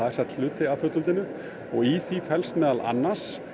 sagt hluti af fullveldinu og í því felst meðal annars